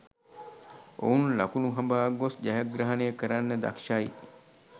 ඔවුන් ලකුණු හඹා ගොස් ජයග්‍රහණය කරන්න දක්ෂයි.